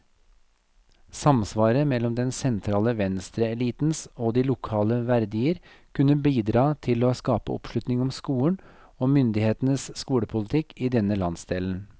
Samsvaret mellom den sentrale venstreelitens og de lokale verdier kunne bidra til å skape oppslutning om skolen, og myndighetenes skolepolitikk i denne landsdelen.